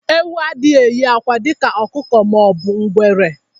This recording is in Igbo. Ewu adịghị eyi akwa dịka ọkụkọ ma ọ bụ ngwere